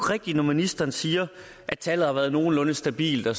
rigtigt når ministeren siger at tallet har været nogenlunde stabilt og